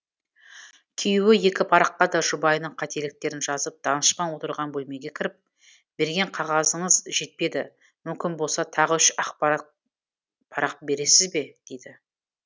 күйеуі екі параққа да жұбайының қателіктерін жазып данышпан отырған бөлмеге кіріп берген қағазыңыз жетпеді мүмкін болса тағы үш ақ парақ бересіз бе дейді